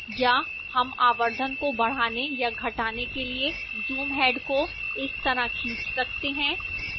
या हम आवर्धन को बढ़ाने या घटाने के लिए zoom head को इस तरह खींच सकते हैं